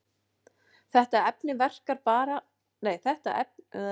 Þetta efni verkar til baka á eldflaugina með krafti sem er gagnstæður hreyfingarstefnu þess.